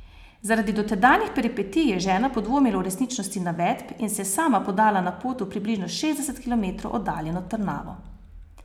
Zaradi dotedanjih peripetij je žena podvomila o resničnosti navedb in se je sama podala na pot v približno šestdeset kilometrov oddaljeno Trnavo.